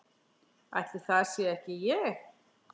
Ætli það sé ekki ég.